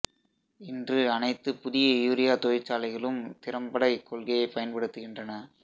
இன்று அனைத்து புதிய யூரியா தொழிற்சாலைகளும் திறம்பட இக்கொள்கையைப் பயன்படுத்துகின்றன